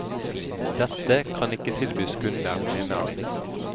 Dette kan ikke tilbys kunder, mener de.